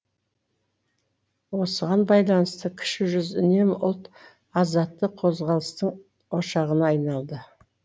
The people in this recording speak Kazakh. осыған байланысты кіші жүз үнемі ұлт азаттық қозғалыстың ошағына айналды